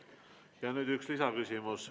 Ja nüüd üks lisaküsimus.